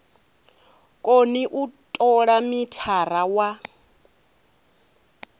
koni u tola mithara wa